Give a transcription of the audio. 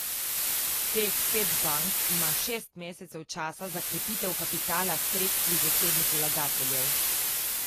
Teh pet bank ima šest mesecev časa za krepitev kapitala s sredstvi zasebnih vlagateljev.